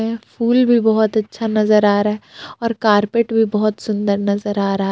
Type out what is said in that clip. यह फूल भी बहोत अच्छा नजर आ रहा है और कारपेट भी बहोत सुंदर नजर आ रहा --